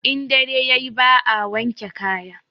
In dare yayi ba a wanke kaya